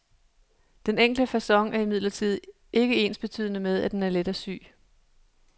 Den enkle facon er imidlertid ikke ensbetydende med at den er let at sy.